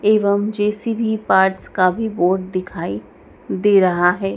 एवं JCB parts का भी बोर्ड दिखाई दे रहा है।